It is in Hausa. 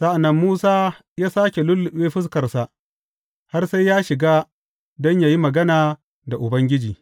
Sa’an nan Musa yă sāke lulluɓe fuskarsa, har sai ya shiga don yă yi magana da Ubangiji.